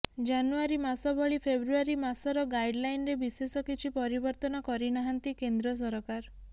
ଜାନୁଆରୀ ମାସ ଭଳି ଫେବୃଆରୀ ମାସର ଗାଇଡଲାଇନରେ ବିଶେଷ କିଛି ପରିବର୍ତ୍ତନ କରିନାହାନ୍ତି କେନ୍ଦ୍ର ସରକାର